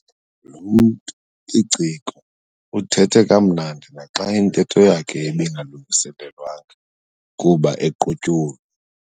Lo mntu liciko uthethe kamnandi naxa intetho yakhe ibingalungiselelwanga kuba equtyulwe.